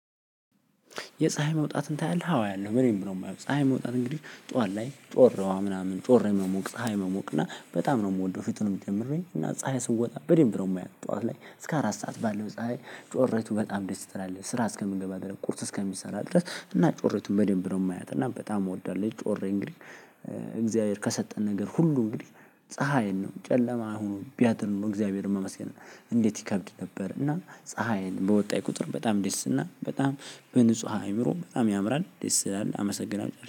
የፀሀይ መውጣትን ታያለህ? አዎ አያለሁ በደንብ ነው የማየው ፀሀይ መውጣት እንግዲህ ጧን ላይ ጮረዋ ምናምን ጮራ መሞቅ ፀሀይ መሞቅ እና በጣም ነው የምወደው ፊቱንም ጀምሬ እና ፀሀይ ስወጣ በደንብ ነው የማያት ጠዋት ላይ እስከ አራት ሰዓት ባለው ፀሀይ ጮራይቱ በጣም ደስ ትላለህ ስራ እስከምንገባ ድረስ ቁርስ እስከሚሰራ ድረስ እና ጮራቱን በደንብ ነው የማያት እና በጣም እወዳለሁ። ጮሬ እንግዲህ እግዚአብሔር ከሰጠን ነገር ሁሉ እንግዲህ ፀሀይን ነው ጨለማ ሁኖ ቢያድር ነው እግዚአብሔርን ማመስገን። እንዴት ይከብድ ነበር። እና ፀሀይን በወጣይ ቁጥር በጣም ደስ እና በጣም በንጹህ አይምሮ በጣም ያምራል ደስ አመሰግናለሁ